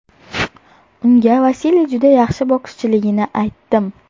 Unga Vasiliy juda yaxshi bokschiligini aytdim.